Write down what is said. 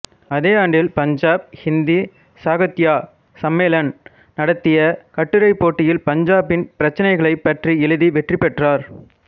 அதே ஆண்டில் பஞ்சாப் ஹிந்தி சாஹித்ய சம்மேலன் நடத்திய கட்டுரைப் போட்டியில் பஞ்சாப்பின் பிரச்சனைகளைப் பற்றி எழுதி வெற்றி பெற்றார்